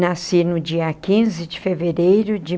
Nasci no dia quinze de fevereiro de